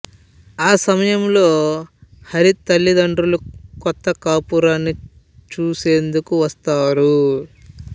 ఆ సమయంలో హరి తలిదండ్రులు కొత్త కాపురాన్ని చూసేందుకు వస్తారు